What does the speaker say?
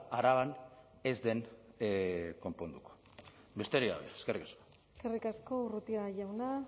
araban ez den konponduko besterik gabe eskerrik asko eskerrik asko urrutia jauna